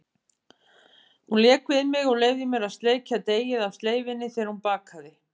Hún lék við mig og leyfði mér að sleikja deigið af sleifinni þegar hún bakaði.